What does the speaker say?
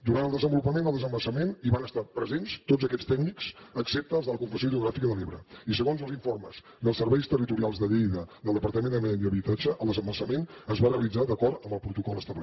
durant el desenvolupament del desembassament hi van estar presents tots aquests tècnics excepte els de la confederació hidrogràfica de l’ebre i segons els informes dels serveis territorials de lleida del departament de medi ambient i habitatge el desembassament es va realitzar d’acord amb el protocol establert